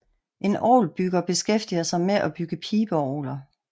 En orgelbygger beskæftiger sig med at bygge pibeorgler